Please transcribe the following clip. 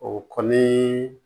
O kɔni